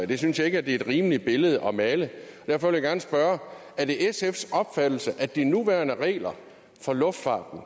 det synes jeg ikke er et rimeligt billede at male og derfor vil jeg gerne spørge er det sfs opfattelse at de nuværende regler for luftfarten